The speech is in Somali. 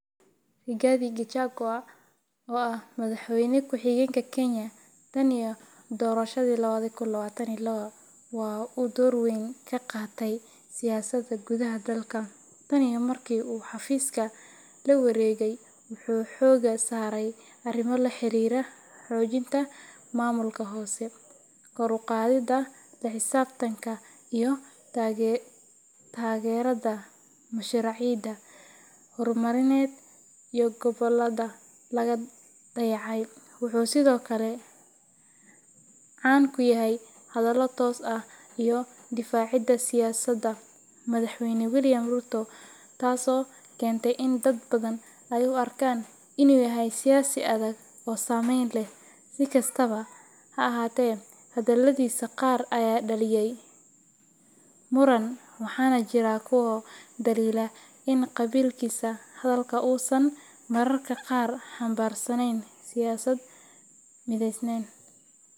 Rigathi Gachagua, oo ah madaxweyne ku xigeenka Kenya tan iyo doorashadii lawadi kun lawatan iyo lawa, waxa uu door weyn ka qaatay siyaasadda gudaha dalka. Tan iyo markii uu xafiiska la wareegay, wuxuu xoogga saaray arrimo la xiriira xoojinta maamulka hoose, kor u qaadidda la xisaabtanka iyo taageerada mashaariicda horumarineed ee gobollada laga dayacay. Wuxuu sidoo kale caan ku yahay hadallo toos ah iyo difaacidda siyaasadda madaxweyne William Ruto, taasoo keentay in dad badan ay u arkaan inuu yahay siyaasi adag oo saameyn leh. Si kastaba ha ahaatee, hadaladiisa qaar ayaa dhaliyay muran, waxaana jira kuwa dhaliila in qaabkiisa hadalka uusan mararka qaar xambaarsanayn siyaasad mideysan.